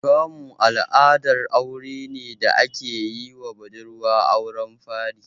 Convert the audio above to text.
Kamu al'adar aure ne da ake yiwa budurwa a auren fari.